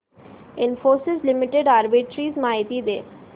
Infosys limited arbitrage माहिती दे